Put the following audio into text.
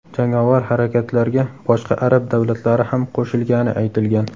Jangovar harakatlarga boshqa arab davlatlari ham qo‘shilgani aytilgan.